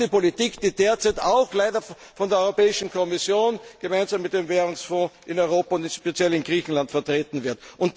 Das ist die Politik, die derzeit auch leider von der Europäischen Kommission gemeinsam mit dem Währungsfonds in Europa und speziell in Griechenland vertreten wird.